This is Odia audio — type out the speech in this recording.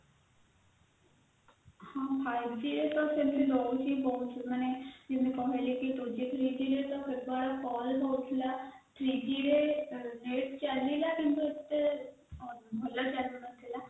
ହଁ five g ତ ରହୁଛି ବହୁତ ମାନେ ଯେମିତି କହିଲି କି two g three g ତ ପରେ ରହୁଥିଲା three g ରେ net ଚାଲିଲା କିନ୍ତୁ ଏତେ ଭଲ ଚାଲୁ ନଥିଲା